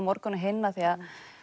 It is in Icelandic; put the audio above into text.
morgun og hinn því